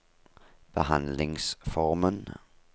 behandlingsformen